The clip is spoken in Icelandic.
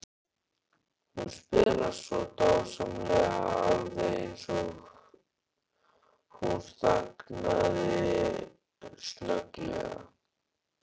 Hún spilar svo dásamlega, alveg eins og. Hún þagnaði snögglega.